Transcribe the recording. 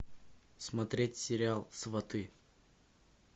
смотреть сериал сваты